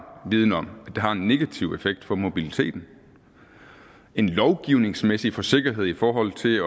viden om at det har en negativ effekt for mobiliteten en lovgivningsmæssig forsigtighed i forhold til